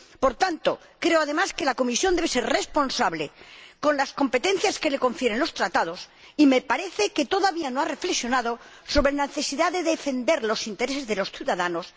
Por tanto, creo que la Comisión, además, debe ser responsable con las competencias que le confieren los Tratados, y me parece que todavía no ha reflexionado sobre la necesidad de defender los intereses de los ciudadanos